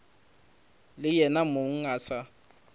le yena mong a sa